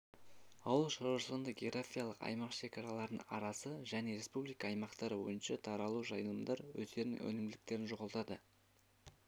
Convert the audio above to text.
ауыл шаруашылығында географиялық аймақ шекараларының арасы және республика аймақтары бойынша таралуы жайылымдар өздерінің өнімділіктерін жоғалтады